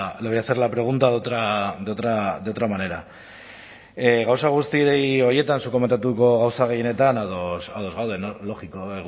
le voy a hacer la pregunta de otra manera gauza guzti horietan zuk komentatu gauza gehienetan ados gaude logiko